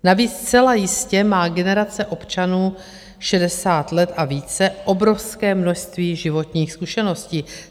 Navíc zcela jistě má generace občanů 60 let a více obrovské množství životních zkušeností.